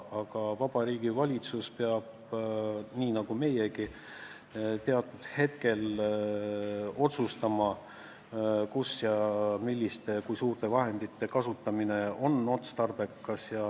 Aga Vabariigi Valitsus peab nii nagu meiegi teatud hetkel otsustama, kus kui suurte vahendite kasutamine on otstarbekas.